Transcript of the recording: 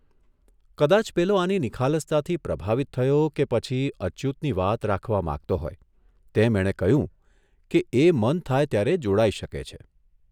કદાચ પેલો આની નિખાલસતાથી પ્રભાવિત થયો કે પછી અચ્યુતની વાત રાખવા માંગતો હોય તેમ એણે કહ્યું કે એ મન થાય ત્યારે જોડાઇ શકે છે.